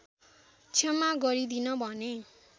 क्षमा गरिदिन भने